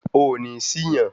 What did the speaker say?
Ó nì sì yàn